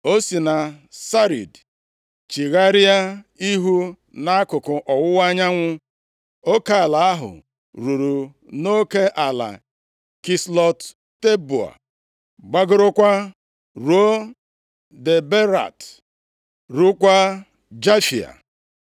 O si na Sarid chigharịa ihu nʼakụkụ ọwụwa anyanwụ, oke ala ahụ ruru nʼoke ala Kislọt Teboa, gbagorokwa ruo Daberat, ruokwa Jafia.